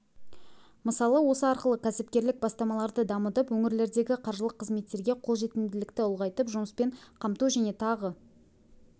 мысалы осы арқылы кәсіпкерлік бастамаларды дамытып өңірлердегі қаржылық қызметтерге қолжетімділікті ұлғайтып жұмыспен қамту және тағы